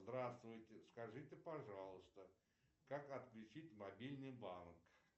здравствуйте скажите пожалуйста как отключить мобильный банк